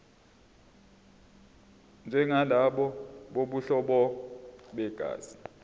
njengalabo bobuhlobo begazi